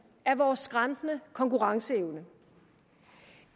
er vores skrantende konkurrenceevne